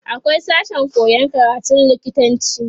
akwai sashen koyan karatun lokitanci